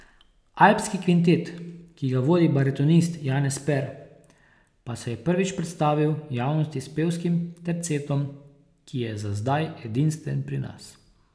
Alpski kvintet, ki ga vodi baritonist Janez Per, pa se je prvič predstavil javnosti s pevskim tercetom, ki je za zdaj edinstven pri nas.